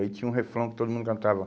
Aí tinha um refrão que todo mundo cantava.